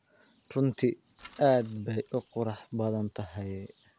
Runtii aad bay u qurux badan tahay.